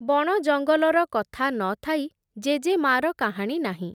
ବଣ ଜଙ୍ଗଲର କଥା ନ ଥାଇ, ଜେଜେମା’ର କାହାଣୀ ନାହିଁ ।